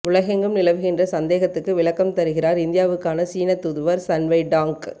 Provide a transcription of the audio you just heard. உலகெங்கும் நிலவுகின்ற சந்தேகத்துக்கு விளக்கம் தருகிறார் இந்தியாவுக்கான சீனத் தூதுவர் சன்வை டாங்க்